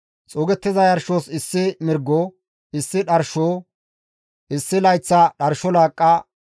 xuugettiza yarshos issi mirgo, issi dharsho, issi layththa dharsho laaqqa,